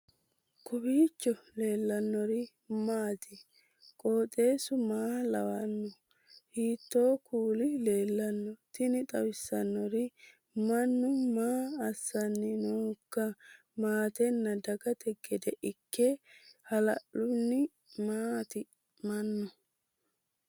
kowiicho leellannori maati ? qooxeessu maa lawaanno ? hiitoo kuuli leellanno ? tini xawissannori mannu maa asanni noohoiika maatenna dagate gede ikke hala'linohu mmati mannu